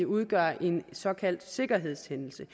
udgør en såkaldt sikkerhedshændelse